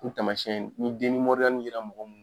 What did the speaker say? U taamasiyɛn ni yera mɔgɔ min na